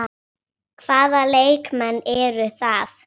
Hvaða leikmenn eru það?